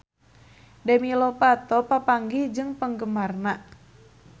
Demi Lovato papanggih jeung penggemarna